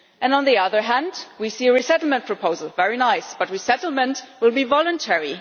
On the other hand, we see a resettlement proposal. That is very nice, but resettlement will be voluntary.